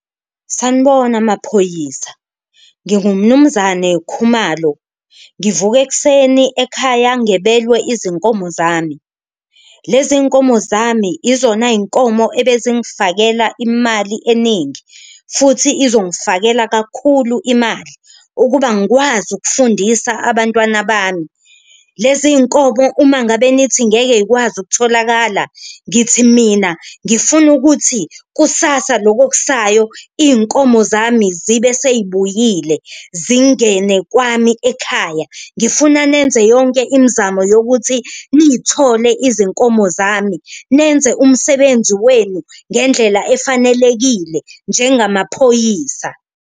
Sanibona, maphoyisa nginguMnumzane Khumalo, ngivuke ekuseni ekhaya ngebelwe izinkomo zami, lezi nkomo zami izona y'nkomo ebezingifakela imali eningi futhi uzongifakela kakhulu imali ukuba ngikwazi ukufundisa abantwana bami. Lezi nkomo uma ngabe nithi ngeke y'kwazi ukutholakala ngithi mina ngifuna ukuthi kusasa loku okusayo inkomo zami zibe seyibuyile zingene kwami ekhaya, ngifuna nenze yonke imzamo yokuthi niyithole izinkomo zami. Nenze umsebenzi wenu ngendlela efanelekile njengamaphoyisa.